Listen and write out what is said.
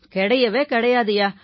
கிடையவே கிடையாதுய்யா